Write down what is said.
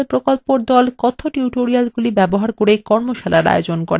কথ্য টিউটোরিয়ালগুলি ব্যবহার করে কর্মশালার আয়োজন করে